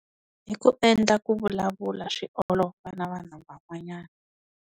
Hi ku endla ku vulavula swi olova na vanhu van'wanyana.